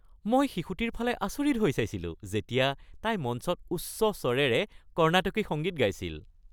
মই শিশুটিৰ ফালে আচৰিত হৈ চাইছিলো যেতিয়া তাই মঞ্চত উচ্চ স্বৰেৰে কৰ্ণাটকী সংগীত গাইছিল।